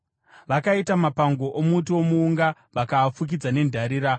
Vakaita mapango omuti womuunga vakaafukidza nendarira.